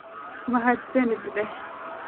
Mahadsanid dheh.